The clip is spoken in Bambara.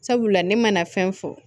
Sabula ne mana fɛn fɔ